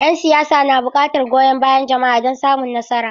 Yan siyasa na bukatar goyon bayan jama'a don samun nasara.